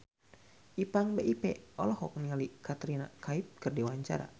Ipank BIP olohok ningali Katrina Kaif keur diwawancara